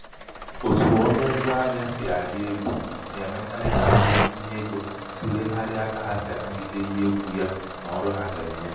otu ọnụ ṅgwa ahịā sì àla elū nà-èmekarị kà ndịntinyeego tùlegharịa kà ha sì ànagide ihe egwù ya nà ọrụ ha gà-ènye